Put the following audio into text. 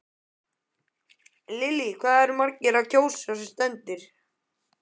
Lillý eru margir að kjósa sem stendur?